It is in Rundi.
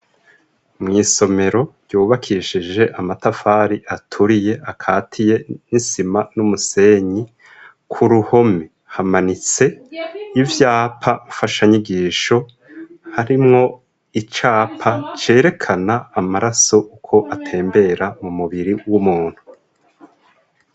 Mw'isomero ryubakishije amatafari aturiye akatiye, n'isima n'umusenyi, ku ruhome hamanitse ivyapa mfashanyigisho, harimwo icapa cerekana amaraso uko atembera mu mubiri w'umuntu.